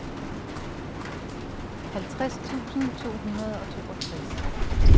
halvtreds tusind to hundrede og toogtres